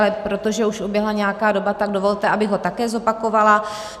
Ale protože už uběhla nějaká doba, tak dovolte, abych ho také zopakovala.